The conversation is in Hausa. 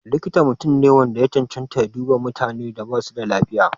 Likita mutum ne wanda ya cancanta ya duba mutanen da basu da lafiya.